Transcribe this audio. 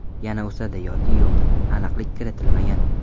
Yana o‘sadi yoki yo‘q, aniqlik kiritilmagan.